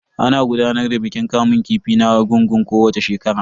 Ana gudanar da bikin kamun kifi na argungun kowacce shekara.